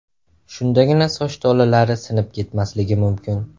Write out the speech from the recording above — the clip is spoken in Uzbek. Shundagina soch tolalari sinib ketmasligi mumkin.